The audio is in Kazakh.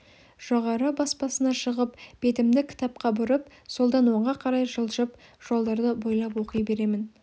жоғарғы баспасына шығып бетімді кітапқа бұрып солдан оңға қарай жылжып жолдарды бойлап оқи беремін